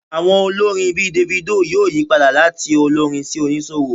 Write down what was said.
Àwọn olórin bíi Davido yóò yí padà láti olórin sí oníṣòwò